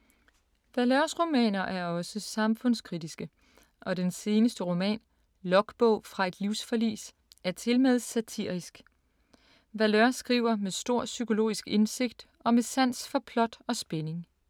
Valeurs romaner er også samfundskritiske og den seneste roman, Logbog fra et livsforlis, er tilmed satirisk. Valeur skriver med stor psykologisk indsigt og med sans for plot og spænding.